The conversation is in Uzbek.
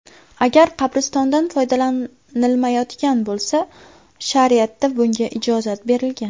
Agar qabristondan foydalanilmayotgan bo‘lsa, shariatda bunga ijozat berilgan.